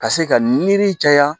Ka se ka niri caya